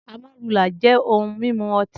Amarula jẹ ohun mimu ọti.